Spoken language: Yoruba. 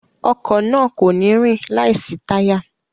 Ọkọ̀ náà kò ní rìn láìsí táyà